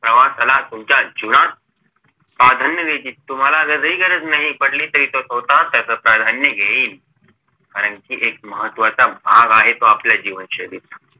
प्रवासाला तुमच्या जीवनात प्राधान्य द्यायची तुम्हाला जरी गरज नाही पडली तरी तो स्वतःच त्याच प्राधान्य घेईल कारण कि एक महत्वाचा भाग आहे तो आपल्या जीवनशैलीचा